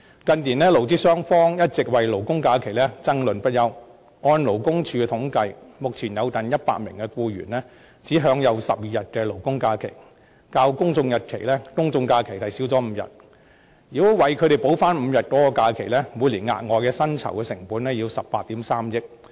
近年，勞資雙方一直為勞工假期爭論不休，根據勞工處的統計，目前有近100萬名僱員只享有12天勞工假期，較公眾假期少5天，如果為他們補回5天假期，每年所需的額外薪酬成本是18億 3,000 萬元。